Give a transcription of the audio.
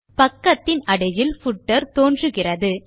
பக்கத்தின் அடியில் பூட்டர் தோன்றுகிறது